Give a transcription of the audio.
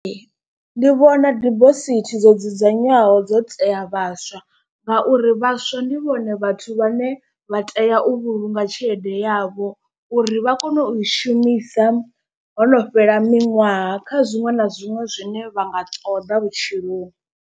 Ndi vhona dibosithi dzo dzudzanywaho dzo tea vhaswa, ngauri vhaswa ndi vhone vhathu vhane vha tea u vhulunga tshelede yavho uri vha kone u i shumisa. Hono fhela miṅwaha kha zwiṅwe na zwiṅwe zwine vha nga ṱoḓa vhutshiloni.